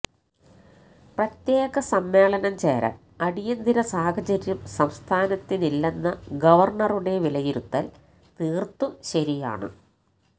പ്രത്യേക സമ്മേളനം ചേരാന് അടിയന്തര സാഹചര്യം സംസ്ഥാനത്തില്ലെന്ന ഗവര്ണറുടെ വിലയിരുത്തല് തീര്ത്തും ശരിയാണ്